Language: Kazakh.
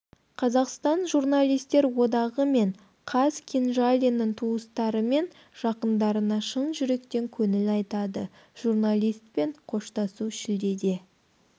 қазақстан журналистер одағы мен қаз кенжалиннің туыстары мен жақындарына шын жүректен көңіл айтады журналистпен қоштасу шілдеде